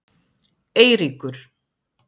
Eiríkur